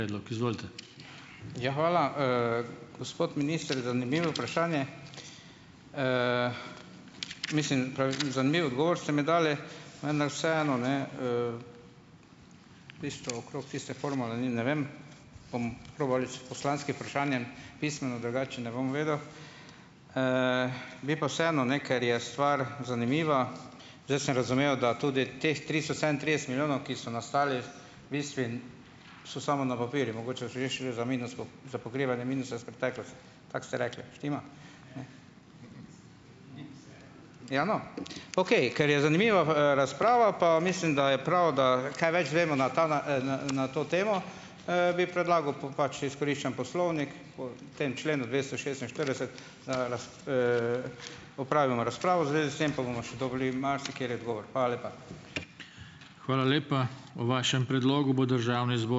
Ja, hvala, Gospod minister, zanimivo vprašanje, mislim, zanimiv odgovor ste mi dali, vendar vseeno, ne, tisto okrog tiste formule ne vem, bom probal s poslanskim vprašanjem pismeno, drugače ne bom vedel. bi pa vseeno, ne, ker je stvar zanimiva, zdaj sem razumel, da tudi teh tristo sedemintrideset milijonov, ki so nastali, v bistvu so samo na papirju, za pokrivanje minusa s Tako ste rekli. Štima? Ja, no, okej, ker je zanimiva, razprava pa mislim, da je prav, da kaj več izvemo na ta, na to temo, bi predlagal, pač izkoriščam poslovnik po tem členu dvesto šestinštirideset, opravimo razpravo v zvezi s tem, pa bomo še dobili marsikateri odgovor. Hvala lepa.